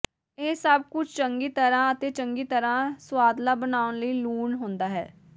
ਇਹ ਸਭ ਕੁਝ ਚੰਗੀ ਤਰਾਂ ਅਤੇ ਚੰਗੀ ਤਰ੍ਹਾਂ ਸੁਆਦਲਾ ਬਣਾਉਣ ਲਈ ਲੂਣ ਹੁੰਦਾ ਹੈ